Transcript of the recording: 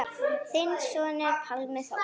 Þinn sonur, Pálmi Þór.